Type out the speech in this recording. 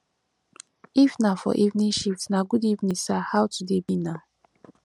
if na for evening shift na good evening sir how today be na